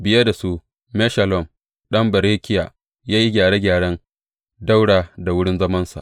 Biye da su, Meshullam ɗan Berekiya ya yi gyare gyaren ɗaura da wurin zamansa.